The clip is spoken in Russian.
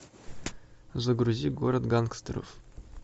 загрузи город гангстеров